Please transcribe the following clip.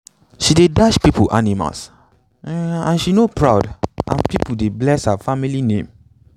she dey dash people animals um and she no proud and people um dey bless her um family name.